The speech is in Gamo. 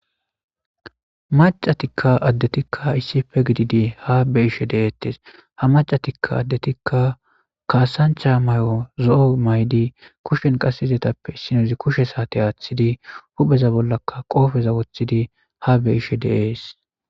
Macatikka addetikka issife gididi ha be ishe deeettes ha macatikka addetikka kaasancha may7o zo7o maydi kushen qasizetappe issinozi kushe saate aaththidi hupheza bollaka qoofeza woththidi ha be ishe deees.